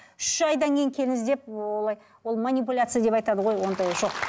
үш айдан кейін келіңіз деп олай ол манипауляция деп айтады ғой ондай жоқ